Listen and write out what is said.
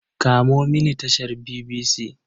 Kamo mini tashar BBC.